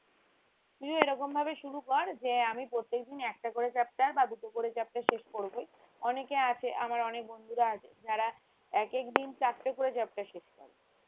তুইও এরকম ভাবে শুরু কর যে আমি প্রত্যেকদিন একটা করে chapter বা দুটো করে chapter শেষ করবোই অনেকে আছে আমার অনেক বন্ধুরা আছে যারা এক এক দিন চারটে করে chapter শেষ করে